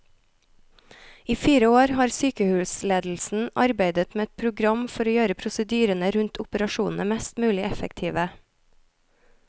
I fire år har sykehusledelsen arbeidet med et program for å gjøre prosedyrene rundt operasjonene mest mulig effektive.